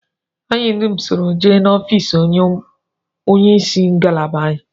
Anyị dum soro jee n'ofịịsị onyeisi ngalaba anyị